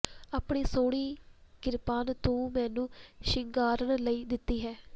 ਆਪਣੀ ਸੁਹਣੀ ਕਿਰਪਾਨ ਤੂੰ ਮੈਨੂੰ ਸ਼ਿੰਗਾਰਨ ਲਈ ਦਿਤੀ ਹੈ